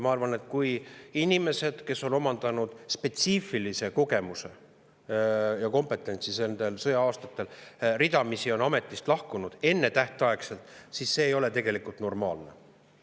Ma arvan, et kui inimesed, kes on omandanud spetsiifilise kogemuse ja kompetentsi nendel sõja-aastatel, on ridamisi ametist ennetähtaegselt lahkunud, siis see ei ole normaalne.